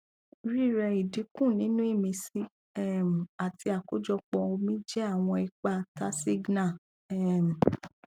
rírẹ idinku ninu imisi um àti akojopo omi jẹ àwọn ipa tasigna um